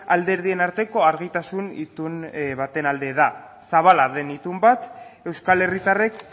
alderdien arteko argitasun itun baten alde da zabala den itun bat euskal herritarrek